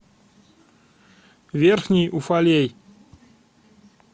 верхний уфалей